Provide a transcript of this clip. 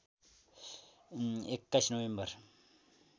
२१ November